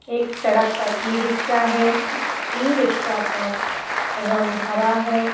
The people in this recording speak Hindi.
एक सड़क पर ई-रिक्शा है। ई-रिक्शा का रंग हरा है।